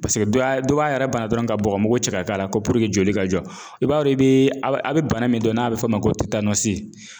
Paseke dɔ ya dɔ b'a yɛrɛ bana dɔrɔn ka bɔgɔmugu cɛ k'a k'a la ko joli ka jɔ. I b'a dɔ i bee a' bɛ a' bɛ bana min dɔn n'a bɛ f'o ma ko